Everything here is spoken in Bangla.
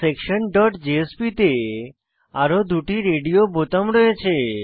adminsectionজেএসপি তে আরো দুটি রেডিও বোতাম রয়েছে